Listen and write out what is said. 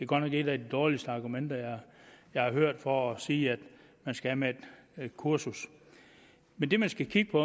godt nok et af de dårligste argumenter jeg har hørt for at sige at man skal af med et kursus men det man skal kigge